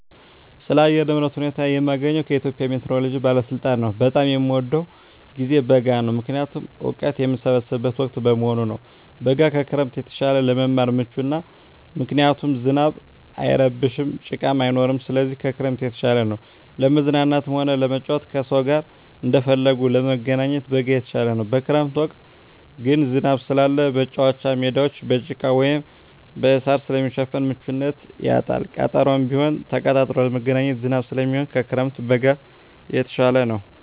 ስለ አየር ንብረት ሁኔታ መረጃ የማገኘዉ ከኢትዮጵያ ሜትሮሎጂ ባለስልጣን ነዉ። በጣም የምወደዉ ጊዜ በጋ ነዉ ምክንያቱም እወቀት የምሰበስብበት ወቅት በመሆኑ ነዉ። በጋ ከክረምት የተሻለ ለመማር ምቹ ነዉ ምክንያቱም ዝናብ አይረብሽም ጭቃም አይኖርም ስለዚህ ከክረምት የተሻለ ነዉ። ለመዝናናትም ሆነ ለመጫወት ከሰዉ ጋር እንደፈለጉ ለመገናኘት በጋ የተሻለ ነዉ። በክረምት ወቅት ግን ዝናብ ስላለ መቻወቻ ሜዳወች በጭቃ ወይም በእሳር ስለሚሸፈን ምቹነቱን ያጣል ቀጠሮም ቢሆን ተቀጣጥሮ ለመገናኘት ዝናብ ስለሚሆን ከክረምት በጋ የተሻለ ነዉ።